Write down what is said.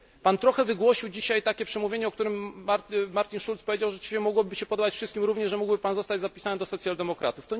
Pan wygłosił dzisiaj przemówienie, o którym Martin Schulz powiedział, że rzeczywiście mogłoby się podobać wszystkim, również, że mógłby Pan zostać zapisany do socjaldemokratów.